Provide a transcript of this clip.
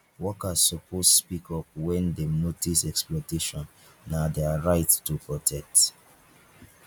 workers suppsoe speak up wen dem notice exploitation na dia rights to protect